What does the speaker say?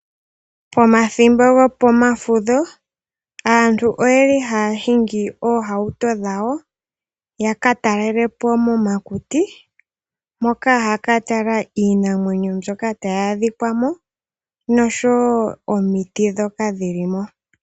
Pomathimbo gopo mafudho aantu oyeli haya hingi oohauto dhawo yaka talelepo momakuti, moka haya ka tala iinamwenyo mbyoka tayi adhika mo noshowo omiti ndhoka dhili mo.